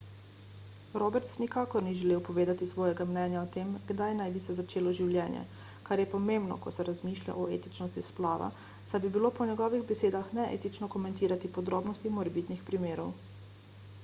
roberts nikakor ni želel povedati svojega mnenja o tem kdaj naj bi se začelo življenje kar je pomembno ko se razmišlja o etičnosti splava saj bi bilo po njegovih besedah neetično komentirati podrobnosti morebitnih primerov